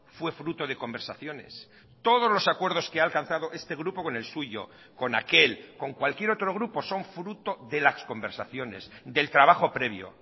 fue fruto de conversaciones todos los acuerdos que ha alcanzado este grupo con el suyo con aquel con cualquier otro grupo son fruto de las conversaciones del trabajo previo